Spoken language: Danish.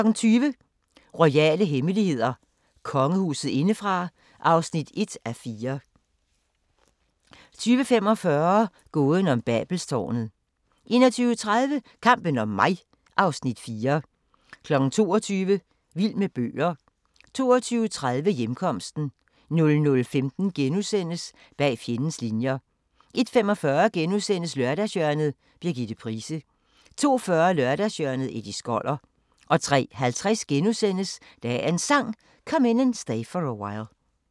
20:00: Royale hemmeligheder: Kongehuset indefra (1:4) 20:45: Gåden om Babelstårnet 21:30: Kampen om mig (Afs. 4) 22:00: Vild med bøger 22:30: Hjemkomsten 00:15: Bag fjendens linjer * 01:45: Lørdagshjørnet – Birgitte Price * 02:40: Lørdagshjørnet - Eddie Skoller 03:50: Dagens Sang: Come In And Stay For A While *